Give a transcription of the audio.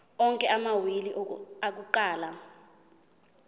onke amawili akuqala